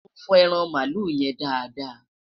mọ fo ẹran malu yen dáadáa